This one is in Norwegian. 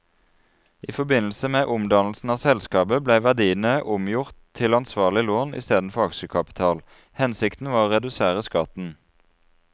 I forbindelse med omdannelsen av selskapet ble verdiene omgjort til ansvarlig lån i stedet for aksjekapital, hensikten var å redusere skatten.